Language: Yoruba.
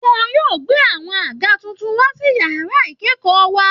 Wọn yóò gbé àwọn àga tuntun wá sí yàrá ìkẹ́kọ̀ọ́ wa